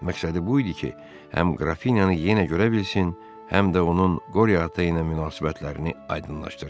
Məqsədi bu idi ki, həm Qrafinyanı yenə görə bilsin, həm də onun Qoriata ilə münasibətlərini aydınlaşdırsın.